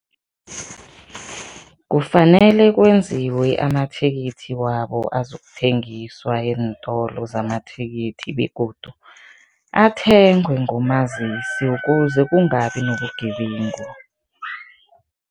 Kufanele kwenziwe amathikithi wabo azokuthengiswa eentolo zamathikithi begodu athengwe ngomazisi ukuze kungabi nobugebengu.